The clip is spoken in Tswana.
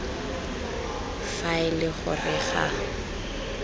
fa e le gore ga